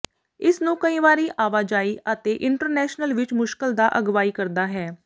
ਇਸ ਨੂੰ ਕਈ ਵਾਰੀ ਆਵਾਜਾਈ ਅਤੇ ਇੰਸਟਾਲੇਸ਼ਨ ਵਿੱਚ ਮੁਸ਼ਕਲ ਦਾ ਅਗਵਾਈ ਕਰਦਾ ਹੈ